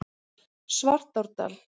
Svartárdal